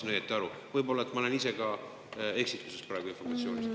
Ma aru saada, võib-olla ma olen ise ka eksituses praegusest informatsioonist.